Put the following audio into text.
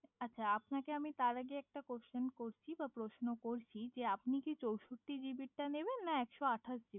আচ্ছা আপনাকে তার আগে একটা কোয়েশ্চেন করছি বা প্রশ্ন করছি যে আপনি কি চৌষট্টি জিবির টা নেবেন না একশো আঠাশ